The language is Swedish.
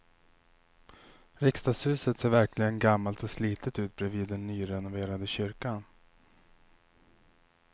Riksdagshuset ser verkligen gammalt och slitet ut bredvid den nyrenoverade kyrkan.